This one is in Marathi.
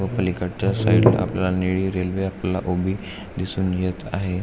पलीकडच्या साइडला आपल्याला निळी रेल्वे आपल्याला उभी दिसून येत आहे.